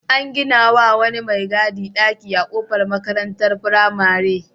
An gina wa wani mai gadi ɗaki a kofar makarantar firamare.